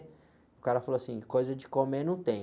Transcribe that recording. O cara falou assim, coisa de comer não tem.